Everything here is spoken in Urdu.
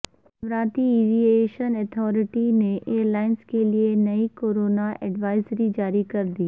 اماراتی ایوی ایشن اتھارٹی نے ائیرلائنز کیلیے نئی کورونا ایڈوائزری جاری کردی